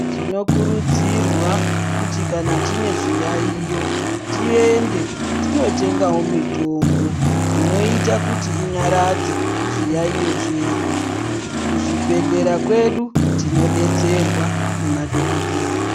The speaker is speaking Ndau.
Tinokurudzirwa kuti kana tine zviyaiyo tiende tinotengavo mitombo inoita kuti inyaradze zviyaiyo zvedu. Kuzvibhedhleya kwedu tinobetserwa nemadhogodheya.